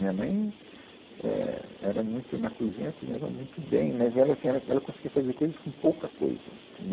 Minha mãe, é, era muito, na cozinha, ela cozinhava muito bem, mas ela assim, ela, ela conseguia fazer coisas com pouca coisa, entendeu